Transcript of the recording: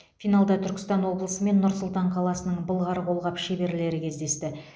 финалда түркістан облысы мен нұр сұлтан қаласының былғары қолғап шеберлері кездесті